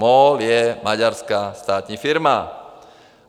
MOL je maďarská státní firma.